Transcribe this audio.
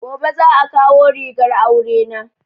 Gobe za a kawo rigar aure na